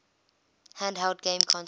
handheld game consoles